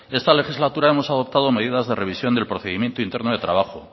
esta legislatura hemos adoptado medidas de revisión del procedimiento interno de trabajo